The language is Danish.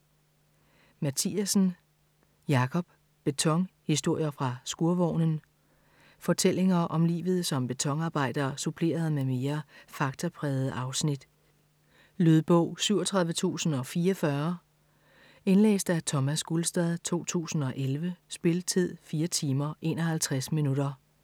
Mathiassen, Jakob: Beton: historier fra skurvognen Fortællinger om livet som betonarbejder suppleret med mere faktaprægede afsnit. Lydbog 37044 Indlæst af Thomas Gulstad, 2011. Spilletid: 4 timer, 51 minutter.